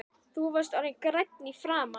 Þú varst orðinn grænn í framan.